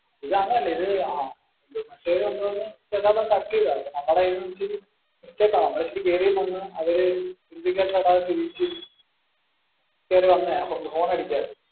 ഇത് അങ്ങനെ അല്ല. ഇത് കേറി വന്നപ്പോ ചെറുതായിട്ട് ഒന്ന് തട്ടിയത്. നമ്മുടെ കയ്യിന് പറ്റിയ ഒരു mistake ആണ്. നമ്മൾ ഇച്ചിരി കെറിയും വന്നു. അവര് indicator ഇടാതെ തിരിച്ച കേറി വന്നതാ. Horn അടിക്കാതെ.